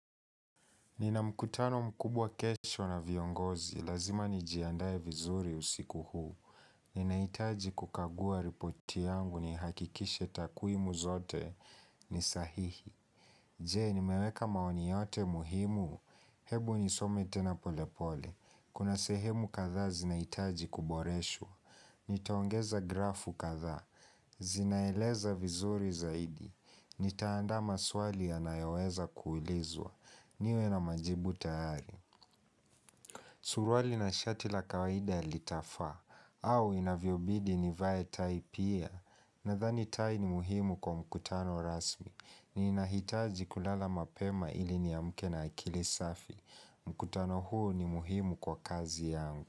Nina mkutano mkubwa kesho na viongozi. Lazima nijiandae vizuri usiku huu. Ninaitaji kukagua ripoti yangu nihakikishe takwimu zote ni sahihi. Jee, nimeweka maoni yote muhimu.? Hebu nisome tena pole pole. Kuna sehemu kadhaa zinahitaji kuboreshwa. Nitaongeza grafu kadhaa. Zinaeleza vizuri zaidi. Nitaandaa maswali yanayoweza kuulizwa. Niwe na majibu tayari Suruali na shati la kawaida litafaa au inavyobidi nivae tai pia Nadhani tai ni muhimu kwa mkutano rasmi ninahitaji kulala mapema ili niamke na akili safi mkutano huo ni muhimu kwa kazi yangu.